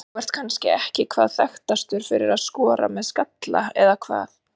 Þú ert kannski ekki hvað þekktastur fyrir að skora með skalla eða hvað?